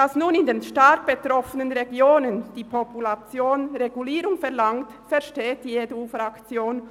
Dass nur in den stark betroffenen Regionen die wachsende Population nach einer Regulierung verlangt, versteht die EDU-Fraktion.